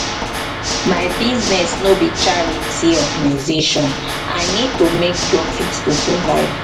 my business no be charity organzation i need to make profit to survive.